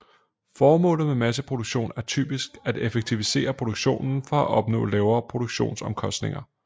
Formålet med masseproduktion er typisk at effektivisere produktionen for at opnå lavere produktionsomkostninger